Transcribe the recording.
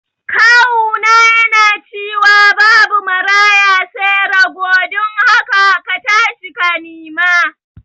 kawuna yana ciwa babu Maraya sai rago dun haka katashi ka nima